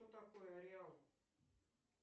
что такое реал